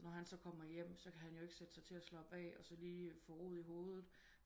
Når han så kommer hjem så kan han jo ikke sætte sig til at slappe af og lige få ro i hovedet